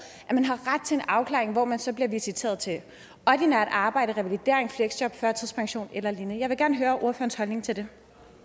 har ret til en afklaring hvor man så bliver visiteret til ordinært arbejde revalidering fleksjob førtidspension eller lignende jeg vil gerne høre ordførerens holdning til det